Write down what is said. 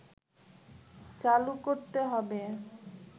চালু করতে হবে